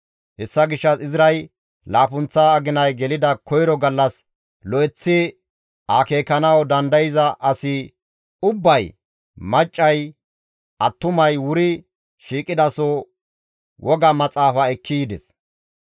Hessa gishshas Izray laappunththa aginay gelida koyro gallas lo7eththi akeekanawu dandayza asi ubbay, maccay, attumay wuri shiiqidaso woga maxaafa ekki yides.